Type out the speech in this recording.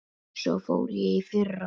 Svo fór ég í fyrra.